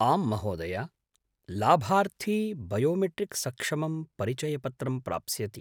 आम्, महोदया! लाभार्थी बयोमेट्रिक् सक्षमं परिचयपत्रं प्राप्स्यति।